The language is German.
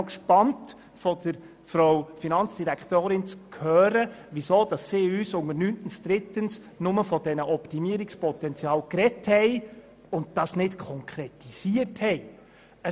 Ich bin gespannt, von der Finanzdirektorin zu hören, weshalb sie unter 9.3 nur vom Optimierungspotenzial gesprochen, aber nichts konkretisiert hat.